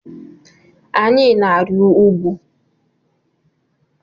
Anyị na-arị ugwu.